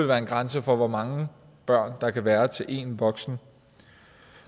være en grænse for hvor mange børn der kan være til én voksen